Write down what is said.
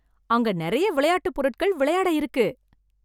அங்க நெறைய விளையாட்டு பொருட்கள் விளையாட இருக்கு.